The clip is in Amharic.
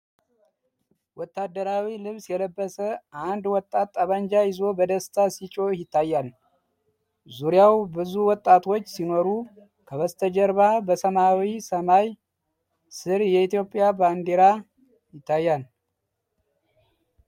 ወታደራዊ ልብስ የለበሰ አንድ ወጣት ጠመንጃ ይዞ በደስታ ሲጮህ ይታያል። ዙሪያው ብዙ ወጣቶች ሲኖሩ ከበስተጀርባ በሰማያዊ ሰማይ ስር የኢትዮጵያ ባንዲራ ይታያል።